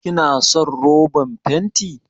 Kina son roban fenti?